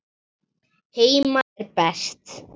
Heima er best.